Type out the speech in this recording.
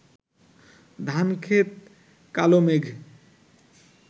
ধানক্ষেত কালো মেঘ